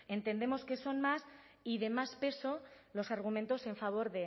entendemos que son más y de más peso los argumentos en favor